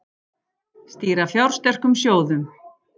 Stýra fjársterkum sjóðum